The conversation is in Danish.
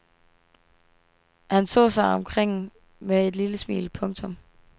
Han så sig omkring med et lille smil. punktum